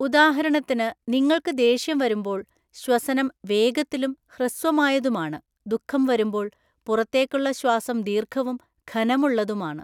ഉദാഹരണത്തിന് നിങ്ങൾക്ക് ദേഷ്യം വരുമ്പോൾ ശ്വസനം വേഗത്തിലും ഹ്രസ്വമായതുമാണ്; ദുഃഖം വരുമ്പോൾ പുറത്തേക്കുള്ള ശ്വാസം ദീർഘവും ഘനമുള്ളതുമാണ്.